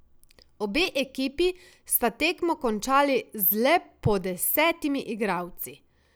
Obe ekipi sta tekmo končali z le po desetimi igralci.